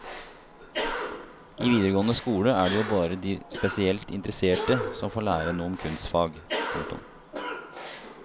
I videregående skole er det jo bare de spesielt interesserte som får lære noe om kunstfag. punktum